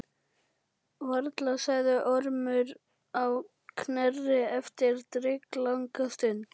Varla, sagði Ormur á Knerri eftir drykklanga stund.